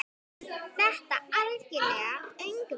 Þetta algera öngvit?